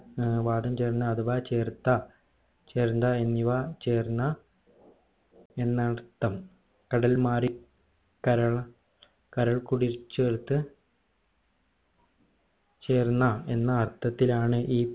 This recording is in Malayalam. ഏർ വാദം ചേർന്ന് അഥവാ ചേർത്ത എന്നിവ ചേർന്ന എന്നർത്ഥം കടൽമാറി കര കരക്കുടി ചേർത്ത് ചേർന്ന എന്നർത്ഥത്തിൽ ആണ് ഈ